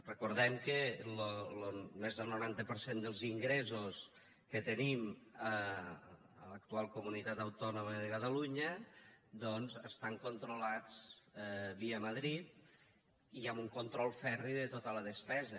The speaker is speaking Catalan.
recordem que més del noranta per cent dels ingressos que tenim a l’actual comunitat autònoma de catalunya estan controlats via madrid i amb un control ferri de tota la depesa